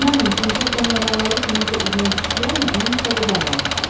İnanın Pinkertonun adamları kiminsə izinə düşdülərmi, onun kitabı bağlanır.